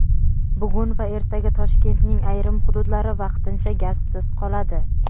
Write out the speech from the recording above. Bugun va ertaga Toshkentning ayrim hududlari vaqtincha gazsiz qoladi.